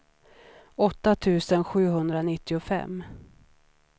åtta tusen sjuhundranittiofem